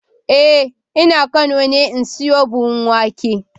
Eh ina kano ne in siyo buhunan wake